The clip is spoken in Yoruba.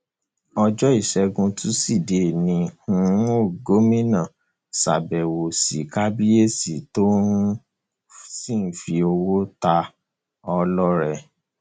ọjọ ìṣègùn tusidee ni um gomina ṣàbẹwò sí kábíyèsí tó um sì fi owó náà ta á lọrẹ